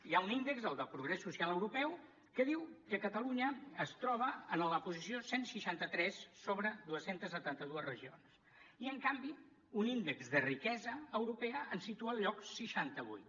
hi ha un índex el del progrés social europeu que diu que catalunya es troba en la posició cent i seixanta tres sobre dos cents i setanta dos regions i en canvi un índex de riquesa europea ens situa al lloc seixanta vuit